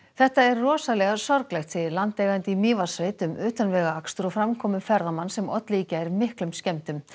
þetta er rosalega sorglegt segir landeigandi í Mývatnssveit um utanvegaakstur og framkomu ferðamanns sem olli í gær miklum skemmdum